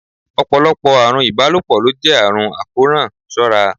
Ọ̀pọ̀lọpọ̀ àrùn ìbálòpọ̀ ló jẹ́ àrùn àkóràn, ṣọ́ ra!